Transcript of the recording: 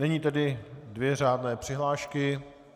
Nyní tedy dvě řádné přihlášky.